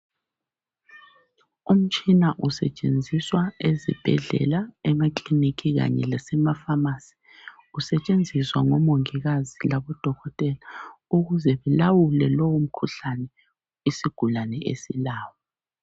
Umtshina usetshenziswa ezibhedlela emakilinika kanye lasema pharmacy usetshenziswa ngomongikazi labodokotela ukuze ulawule lowo mkhuhlane isigulane esilawo .